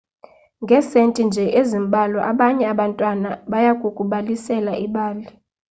ngesenti nje ezimbalwa abanye abantwana bayakukubalisela ibali